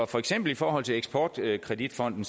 for eksempel i forhold til eksport kredit fonden